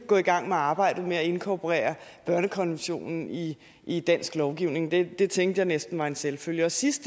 gå i gang med arbejdet med at inkorporere børnekonventionen i i dansk lovgivning det det tænkte jeg næsten var en selvfølge og sidst